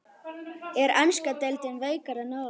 Er enska deildin veikari en áður?